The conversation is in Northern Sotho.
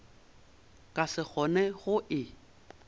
ka se kgone go e